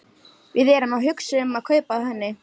Við erum að hugsa um að kaupa af henni.